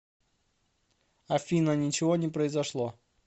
афина ничего не произошло